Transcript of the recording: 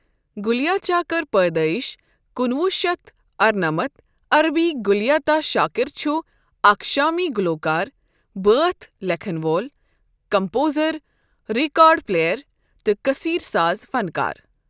Ghalia Shakir پٲدٲیِش کُنہٕ وُہ شیتھ ارٕنمتھ، عربی غالیة شاكر چُھ اَکھ شامی گلوکار، بٲتھ لٮ۪کھن وول، کمپوزر، ریکارڈ پلیئر، تہٕ کثیر ساز فنکار۔